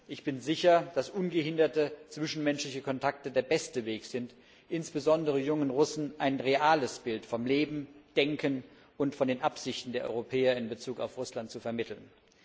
Ich bin sicher, dass ungehinderte zwischenmenschliche Kontakte der beste Weg sind, insbesondere jungen Russen ein reales Bild vom Leben, Denken und von den Absichten der Europäer in Bezug auf Russland zu vermitteln.